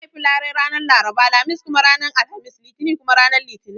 An haifi larai ranar Laraba, Lamis kuma ranar Alhamis, Litini kuma ranar Litinin